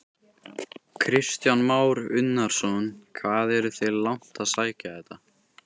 Kristján Már Unnarsson: Hvað eruð þið langt að sækja þetta?